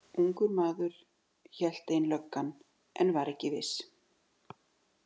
Ungur maður, hélt ein löggan en var ekki viss.